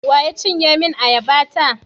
Wa ya cinye min ayaba ta?